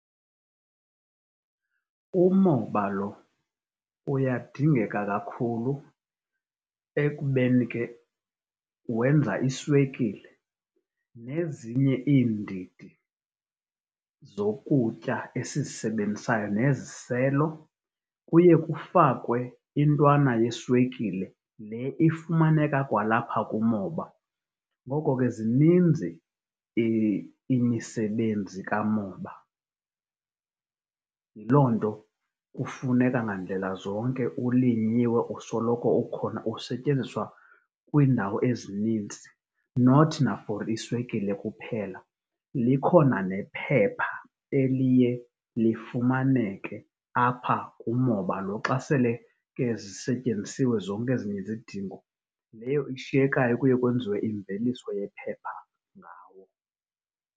Umoba lo uyadingeka kakhulu ekubeni ke wenza iswekile nezinye iindidi zokutya esizisebenzisayo neziselo. Kuye kufakwe intwana yeswekile le ifumaneka kwalapha kumoba. Ngoko ke zininzi imisebenzi kamoba. Yiloo nto, kufuneka ngandlela zonke ulinyiwe usoloko ukhona usetyenziswa kwindawo ezininzi not na for iswekile, likhona nephepha eliye lifaneke apha kumoba lo xa sele ke zisetyenzisiwe zonke ezinye izidingo. Leyo ishekayo kuye kwenziwe imveliso yephepha ngawo.